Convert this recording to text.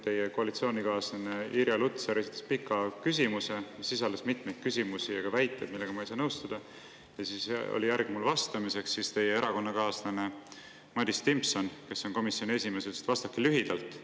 Teie koalitsioonikaaslane Irja Lutsar esitas pika küsimuse, mis sisaldas mitmeid küsimusi ja ka väiteid, millega ma ei saa nõustuda, ja kui siis järg jõudis minuni, siis teie erakonnakaaslane Madis Timpson, kes on komisjoni esimees, ütles: "Vastake lühidalt.